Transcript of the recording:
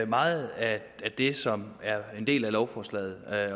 meget af det som er en del af lovforslaget